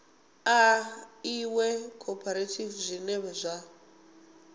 ḽa iṅwe khophorethivi zwine zwa